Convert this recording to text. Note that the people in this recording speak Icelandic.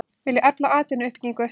Vilja efla atvinnuuppbyggingu